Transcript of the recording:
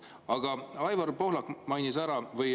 Aga Aivar Pohlak mainis ära või …